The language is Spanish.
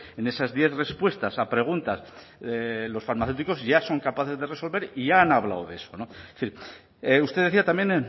en esas diez respuestas a preguntas los farmacéuticos ya son capaces de resolver y ya han hablado de eso usted decía también